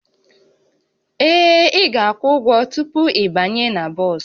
Ee, ị ga-akwụ ụgwọ tupu ịbanye na bọs